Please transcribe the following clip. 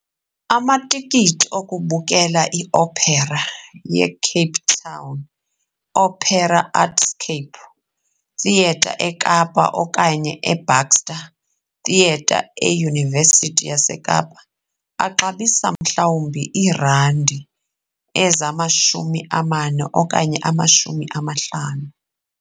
Amatikiti okubukele i-opera yeCape Town Opera eArtscape Theatre eKapa okanye eBaxter Theatre eYunivesithi yaseKapa axabisa mhlawumbi iirandi ezamashumi amane okanye amashumi amahlanu.